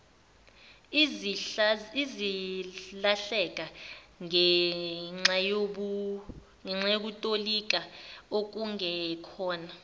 ezilahleka ngenxayokutolika okungekona